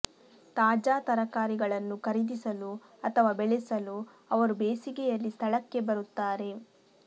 ತಾಜಾ ತರಕಾರಿಗಳನ್ನು ಖರೀದಿಸಲು ಅಥವಾ ಬೆಳೆಸಲು ಅವರು ಬೇಸಿಗೆಯಲ್ಲಿ ಸ್ಥಳಕ್ಕೆ ಬರುತ್ತಾರೆ